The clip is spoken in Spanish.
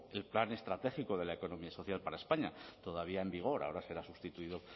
el plan estratégico de la economía social para españa todavía en vigor ahora será sustituido